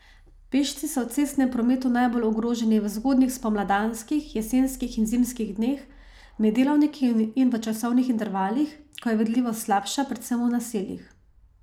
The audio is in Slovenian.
Pešci so v cestnem prometu najbolj ogroženi v zgodnjih spomladanskih, jesenskih in zimskih dneh, med delavniki in v časovnih intervalih, ko je vidljivost slabša, predvsem v naseljih.